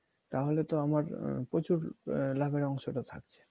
তাহলেতো আমার প্রচুর লাভের অংশটা থাকছে